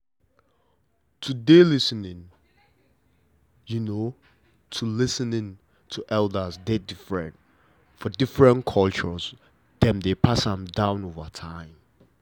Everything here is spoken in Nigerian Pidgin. to dey lis ten ing to lis ten ing to elders dey different for different culture dem dey pass am down over time